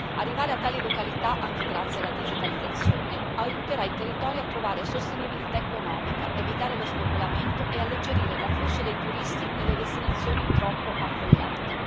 Arrivare a tali località, anche grazie alla digitalizzazione, aiuterà i territori a trovare sostenibilità economica, evitare lo spopolamento e alleggerire l'afflusso dei turisti nelle destinazioni troppo affollate.